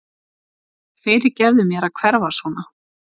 Fyrirgefðu mér að hverfa svona.